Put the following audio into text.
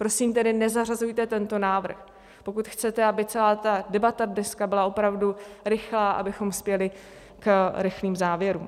Prosím tedy, nezařazujte tento návrh, pokud chcete, aby celá ta debata dneska byla opravdu rychlá, abychom spěli k rychlým závěrům.